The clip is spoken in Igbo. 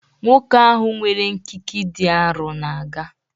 Nwoke ahụ nwere nkịkị dị arọ na-aga